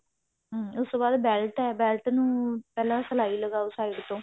ਹਾਂ ਉਸ ਤੋਂ ਬਾਅਦ belt ਹੈ belt ਨੂੰ ਪਹਿਲਾਂ ਸਲਾਈ ਲਗਾਓ side ਤੋਂ